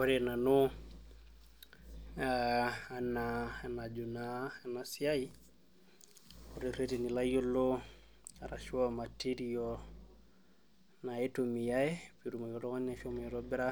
Ore nanu ee enaa enajo ena siai ore ireteni loyiolo naitumiyai peetumoki oltung'ani ashomo aitobira